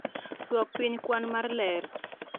duok piny kwan mar ler